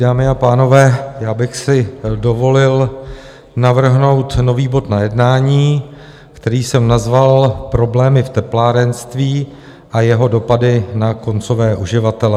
Dámy a pánové, já bych si dovolil navrhnout nový bod na jednání, který jsem nazval Problémy v teplárenství a jeho dopady na koncové uživatele.